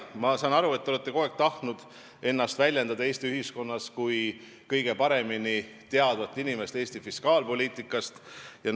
Ma saan aru, et te olete kogu aeg tahtnud ennast Eesti ühiskonnas väljendada kui inimesena, kes teab Eesti fiskaalpoliitikat kõige paremini.